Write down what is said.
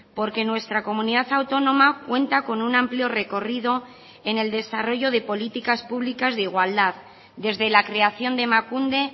porque nuestra comunidad autónoma cuenta con un amplio recorrido en el desarrollo de políticas públicas de igualdad desde la creación de emakunde